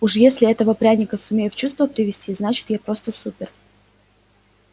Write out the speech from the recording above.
уж если этого пряника сумею в чувство привести значит я просто супер